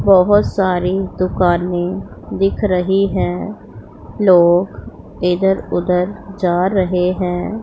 बहोत सारी दुकाने दिख रही है लोग इधर उधर जा रहे हैं।